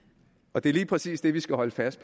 og det er lige præcis det vi skal holde fast